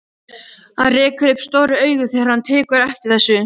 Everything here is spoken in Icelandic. Hann rekur upp stór augu þegar hann tekur eftir þessu.